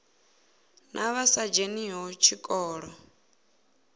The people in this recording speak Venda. na vha sa dzheniho tshikolo